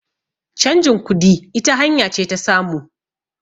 changin kudi ita hanya ce ta samu